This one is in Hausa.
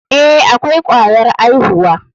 Eh, akwai kwayar aihuwa.